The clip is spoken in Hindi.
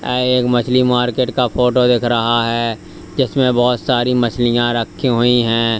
यह एक मछली मार्केट का फोटो दिख रहा है जिसमें बहुत सारी मछलियां रखी हुई हैं।